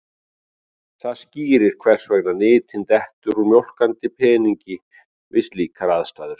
Þetta skýrir hvers vegna nytin dettur úr mjólkandi peningi við slíkar aðstæður.